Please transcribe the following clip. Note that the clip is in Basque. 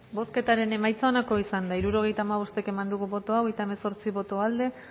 bozketaren emaitza onako izan da hirurogeita hamabost eman dugu bozka hogeita hemezortzi boto aldekoa